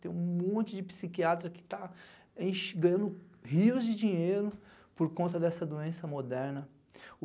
Tem um monte de psiquiatra que está, ixe, ganhando rios de dinheiro por conta dessa doença moderna.